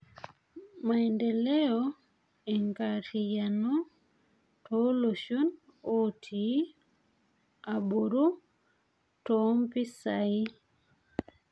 Maendeleo eenkarriayano, tooloshon ooti aboru ttompisai.